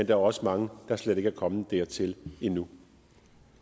er også mange der slet ikke er kommet dertil endnu